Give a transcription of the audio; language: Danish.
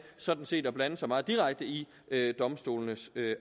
sådan set at blande sig meget direkte i domstolenes